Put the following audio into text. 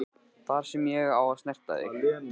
Það er ég sem á að snerta þig.